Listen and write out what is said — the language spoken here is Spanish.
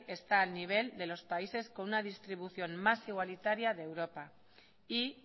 está al nivel de los países con una distribución más igualitaria de europa y